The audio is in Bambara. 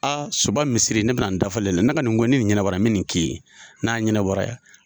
A Suba misiri ne bɛna n dafal'e la, ne ka nin ko in ni ɲɛnabɔra me nin k'i ye, n'a ɲɛnabɔra